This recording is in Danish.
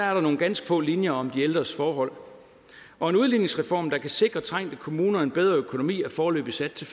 er der nogle ganske få linjer om de ældres forhold og en udligningsreform der kan sikre trængte kommuner en bedre økonomi er foreløbig sat til